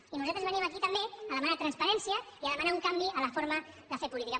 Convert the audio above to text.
i nosaltres venim aquí també a demanar transparència i a demanar un canvi en la forma de fer política